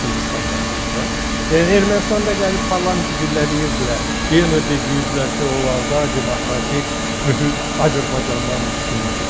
O ikili standartlarda, yəni Ermənistanda gəlib parlamenti güllələyirdilər, yenə də deyirdilər ki, onlarda demokratik mühit Azərbaycandan üstündür.